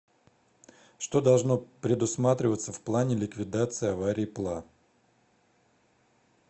что должно предусматриваться в плане ликвидации аварий пла